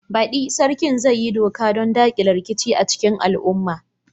Baɗi, Sarkin zai yi doka don dakile rikici a cikin al'umma.